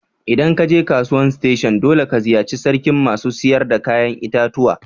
ldan ka je kasuwan station dolle ka ziyace sarkin masu sayar da yayan itatuwa.